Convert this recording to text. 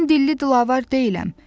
Mən dilli-dilavər deyiləm.